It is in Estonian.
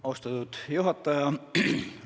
Austatud juhataja!